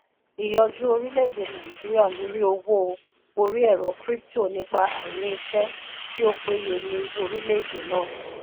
ìyọjú orilẹ-ède nàìjíríà lórí owó orí ẹ̀rọ crypto nípa àìní iṣẹ́ tí ó péye ní orilẹ-ède náà.